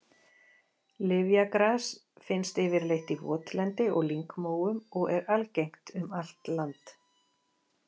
Lyfjagras finnst yfirleitt í votlendi og lyngmóum og er algengt um allt land.